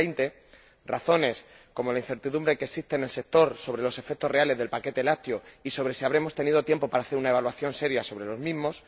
2020 razones como la incertidumbre que existe en el sector sobre los efectos reales del paquete lácteo y sobre si habremos tenido tiempo para hacer una evaluación seria sobre los mismos